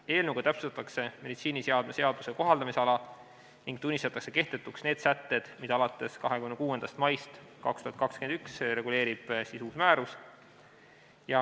Eelnõuga täpsustatakse meditsiiniseadme seaduse kohaldamisala ning tunnistatakse kehtetuks need sätted, mida alates 26. maist 2021 reguleerib uus määrus.